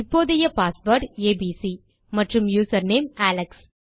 இப்போதைய password ABC மற்றும் username Alex